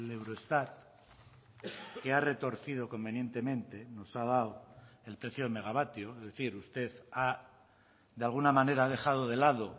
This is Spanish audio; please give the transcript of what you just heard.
eurostat que ha retorcido convenientemente nos ha dado el precio de megavatio es decir usted de alguna manera ha dejado de lado